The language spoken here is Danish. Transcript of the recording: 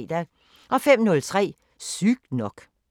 05:03: Sygt nok